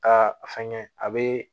Aa fɛngɛ a bɛ